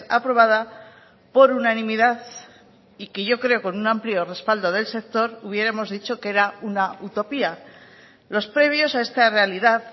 aprobada por unanimidad y que yo creo con un amplio respaldo del sector hubiéramos dicho que era una utopía los previos a esta realidad